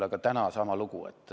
Aga täna on sama lugu.